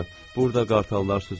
Burda qartallar süzürmü?